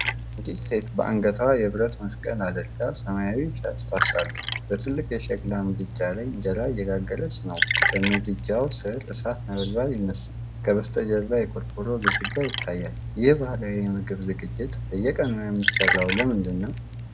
አንዲት ሴት በአንገቷ የብረት መስቀል አድርጋ፣ ሰማያዊ ሻሽ ታስራለች። በትልቅ የሸክላ ምድጃ ላይ እንጀራ እየጋገረች ነው። በምድጃው ስር እሳት ነበልባል ይነሳል፤ ከበስተጀርባ የቆርቆሮ ግድግዳ ይታያል። ይህን ባህላዊ የምግብ ዝግጅት በየቀኑ የሚሠራው ለምንድን ነው?